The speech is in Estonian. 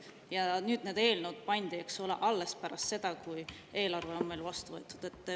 Need eelnõud pandi, eks ole, alles pärast seda, kui eelarve oli meil vastu võetud.